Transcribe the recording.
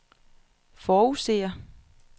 forudser